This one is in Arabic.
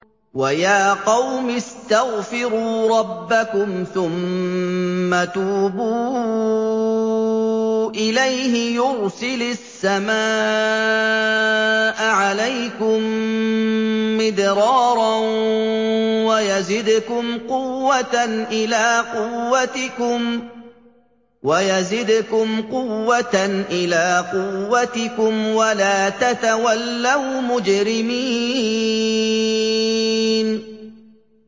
وَيَا قَوْمِ اسْتَغْفِرُوا رَبَّكُمْ ثُمَّ تُوبُوا إِلَيْهِ يُرْسِلِ السَّمَاءَ عَلَيْكُم مِّدْرَارًا وَيَزِدْكُمْ قُوَّةً إِلَىٰ قُوَّتِكُمْ وَلَا تَتَوَلَّوْا مُجْرِمِينَ